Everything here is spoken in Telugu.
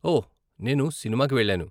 ఓ, నేను సినిమాకి వెళ్ళాను.